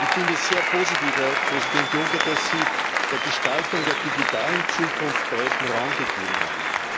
Ich finde es sehr positiv, Herr Präsident Juncker, dass Sie der Gestaltung der digitalen Zukunft breiten Raum gegeben haben.